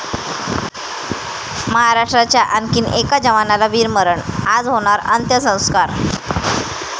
महाराष्ट्राच्या आणखी एका जवानाला वीरमरण, आज होणार अंत्यसंस्कार